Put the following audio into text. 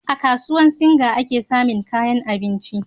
a kasuwar singa ake samin kayan abinci